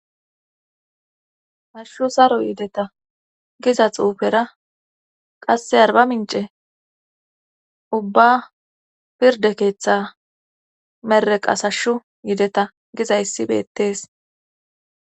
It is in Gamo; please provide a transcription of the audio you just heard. Hashu saro yideta giza xuufera qasse arba mince ubba pirde keeththe mereqas hashshu yideta gizayssi beettees.